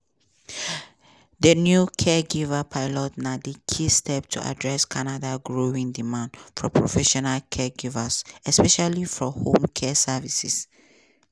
di new caregiver pilots na key step to address canada growing demand for professional caregivers especially for home care services.